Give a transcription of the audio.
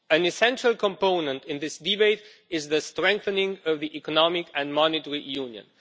An essential component in this debate is the strengthening of the economic and monetary union.